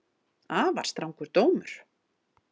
Afar strangur dómur